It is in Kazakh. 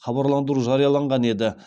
хабарландыру жарияланған еді